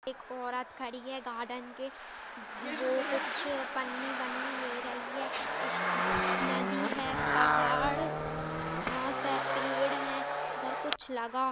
एक औरत खड़ी है गार्डन के वो कुछ पन्नी-वन्नी ले रही है इस नदी है पहाड़ घास है पेड़ है इधर कुछ लगा --